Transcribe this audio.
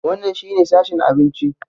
Wannan shine sashen abinci.